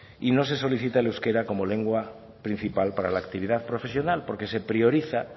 y no se solicita el euskera como lengua principal para la actividad profesional porque se prioriza